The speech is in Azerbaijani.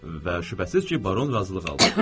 Və şübhəsiz ki, baron razılıq aldı.